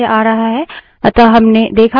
अतः हमने देखा कि standard input को कैसे redirect करते हैं